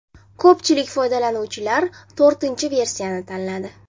Ko‘pchilik foydalanuvchilar to‘rtinchi versiyani tanladi.